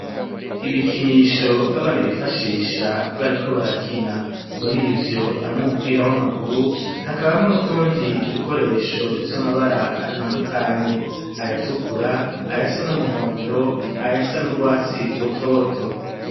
Ibikinisho abana bifashisha bariko barakina murivyo harimwo umupira w'amaguru hakabamwo n'utundi dukoresho dufise amabara atandukanye aya tukura ayasa n'umuhondo ayasa n'urwasi rutoto.